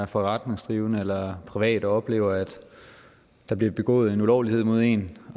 forretningsdrivende eller privat oplever at der bliver begået en ulovlighed mod en